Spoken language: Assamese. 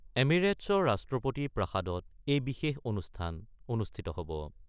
এমেৰিটছৰ ৰাষ্ট্ৰপতি প্ৰাসাদত এই বিশেষ অনুষ্ঠান অনুষ্ঠিত হব।